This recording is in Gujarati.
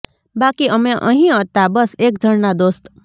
બાકી અમે અહીં હતા બસ એક જણના દોસ્ત